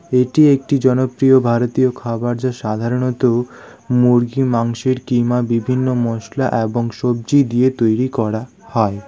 এটি একটি জনপ্রিয় ভারতীয় খাবার যা সাধারণত মুরগি মাংসের কিমা বিভিন্ন মসলা এবং সব্জি দিয়ে তৈরি করা হয়।